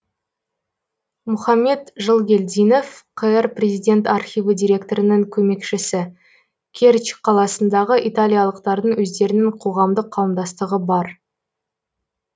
мұхаммед жылгелдинов қр президент архиві директорының көмекшісі кертч қаласындағы италиялықтардың өздерінің қоғамдық қауымдастығы бар